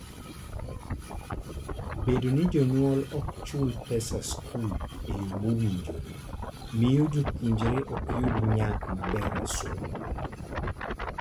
Bedo ni jonyuol ok chul pesa skul e yo mowinjore miyo jopuonjre ok yud nyak maber e somo.